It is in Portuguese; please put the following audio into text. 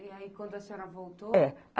E aí, quando a senhora voltou? É